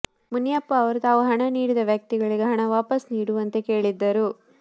ಮುನಿಯಪ್ಪ ಅವರು ತಾವು ಹಣ ನೀಡಿದ ವ್ಯಕ್ತಿಗಳಿಗೆ ಹಣ ವಾಪಸ್ ನೀಡುವಂತೆ ಕೇಳಿದ್ದರು